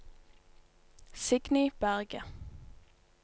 Signy Berget